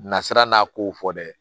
Nasira n'a kow fɔ dɛ